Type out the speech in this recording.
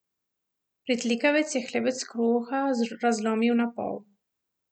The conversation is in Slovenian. Pritlikavec je hlebec kruha razlomil na pol.